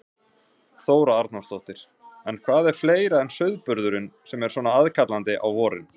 Þóra Arnórsdóttir: En hvað er fleira en sauðburðurinn sem er svona aðkallandi á vorin?